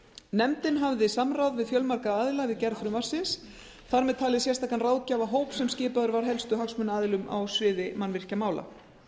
nefndin hafði samráð við fjölmarga aðila við gerð frumvarpsins þar með talinn sérstakan ráðgjafarhóp sem skipaður var helstu hagsmunaaðilum á sviði mannvirkjamála